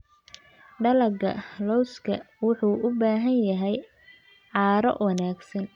Dalagga lawska wuxuu u baahan yahay carro wanaagsan.